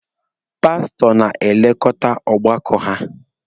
Pasụtọ na-elekọta ọgbakọ ya.